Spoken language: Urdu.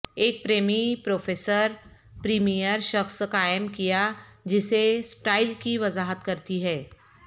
ایک پریمی پروفیسر پریمیئر شخص قائم کیا جسے سٹائل کی وضاحت کرتی ہے